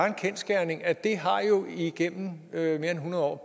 en kendsgerning at det igennem mere end hundrede år